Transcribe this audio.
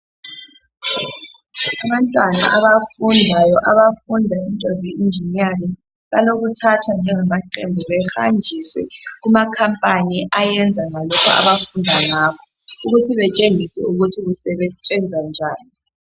Abantwana abafundayo abafunda into ze eginiyaringi bayathathwa behambiswe kuma company abayenza lokhu abafunda ngakho bantshengiswe ukuthi kusentshenzwa njani